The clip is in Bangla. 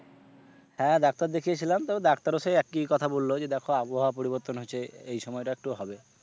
হ্যাঁ ডাক্তার দেখিয়েছিলাম, তবে ডাক্তার ও সেই একই কথা বললো যে দেখো আবহাওয়া পরিবর্তন হচ্ছে এই সময়টা একটু হবে।